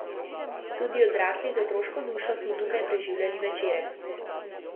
Tudi odrasli z otroško dušo smo tukaj preživljali večere.